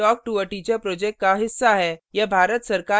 spoken tutorial project talktoa teacher project का हिस्सा है